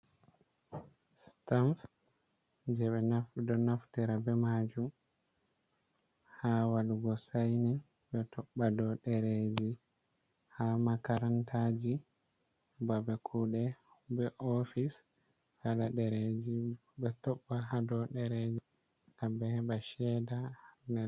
Sitaam jey ɓe ɗo naftira be maajum, haa waɗugo saynin, ɓe toɓɓa dow ɗereeji, haa makarantaaji, babe kuuɗe, be ofis haala ɗereeji. Ɓe toɓɓa haa dow ɗereeji, ngam ɓe heɓa ceeda.